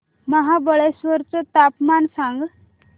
महाबळेश्वर चं तापमान सांग